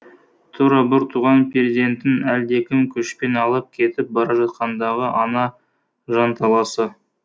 тура бір туған перзентін әлдекім күшпен алып кетіп бара жатқандағы ана жанталасы